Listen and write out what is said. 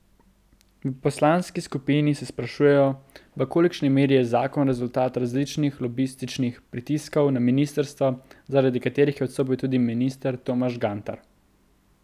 V poslanski skupini se sprašujejo, v kolikšni meri je zakon rezultat različnih lobističnih pritiskov na ministrstvo, zaradi katerih je odstopil tudi minister Tomaž Gantar.